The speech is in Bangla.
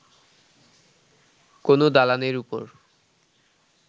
কোন দালানের ওপর